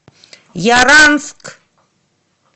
яранск